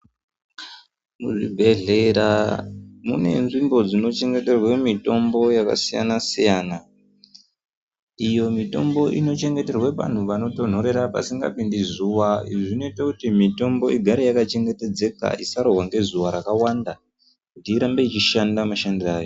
Zvibhedhlera mune nzvimbo dzinochengeterwe mitombo yakasiyana-siyana. Iyo mitombo inochengeterwe panhu panotonhorera, pasingapindi zuva. Izvi zvinoite kuti mitombo igare yakachengetedzeka, isarohwa ngezuva rakawanda, kuti irambe ichishanda mashandiro ayo.